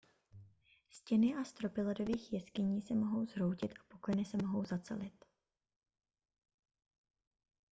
stěny a stropy ledových jeskyní se mohou zhroutit a pukliny se mohou zacelit